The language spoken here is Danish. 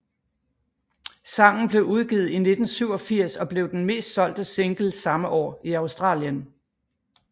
Sangen blev udgivet i 1987 og blev den mest solgte single samme år i Australien